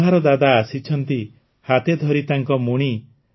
କୁମ୍ଭାର ଦାଦା ଆସିଛନ୍ତି ହାତେ ଧରି ତାଙ୍କ ମୁଣି